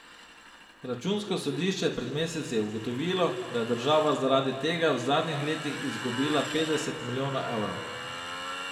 Računsko sodišče je pred meseci ugotovilo, da je država zaradi tega v zadnjih letih izgubila petdeset milijonov evrov.